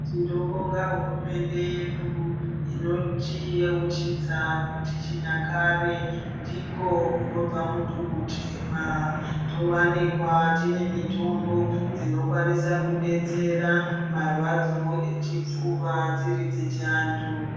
Tinobonga hurumende inotiyeuchidza kuti chinyakare ndiko kunobva muntu mutema, towanikwa tine mitombo dzinokwanisa kudetsera marwadzo echipfuva dziri dzechi antu.